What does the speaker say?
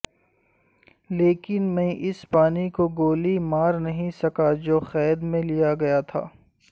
لیکن میں اس پانی کو گولی مار نہیں سکا جو قید میں لیا گیا تھا